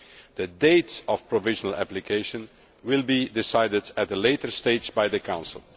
The date of provisional application will be decided at a later stage by the Council.